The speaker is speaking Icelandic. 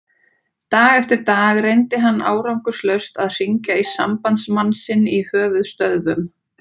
Dag eftir dag reyndi hann árangurslaust að hringja í sambandsmann sinn í höfuðstöðvum